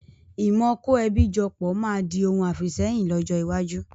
Ìmọ kò ẹbí jọ pọ̀ máa di òun àfìsẹ́yìn lọ́jọ́ iwájú